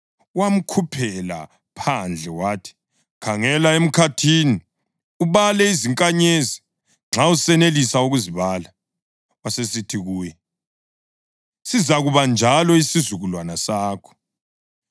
Wamkhuphela phandle wathi, “Khangela emkhathini ubale izinkanyezi, nxa usenelisa ukuzibala.” Wasesithi kuye, “Sizakuba njalo isizukulwane sakho.”